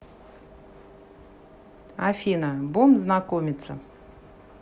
афина бум знакомиться